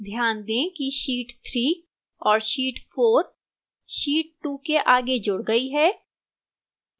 ध्यान दें कि sheet 3 और sheet 4 sheet 2 के आगे जुड़ गई हैं